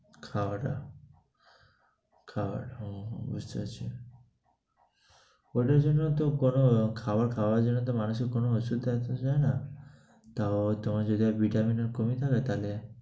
খাওয়াটা, খাওয়ার। হু হু বুঝতে পারছি। ঐটার জন্য তো কোনো খাবার খাওয়া যাবে না, মানুষের কোনো অসুখ আনতে চায় না। তাও তোমার যেটা vitamin এর লাগে